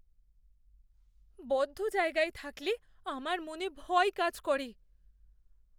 বদ্ধ জায়গায় থাকলে আমার মনে ভয় কাজ করে।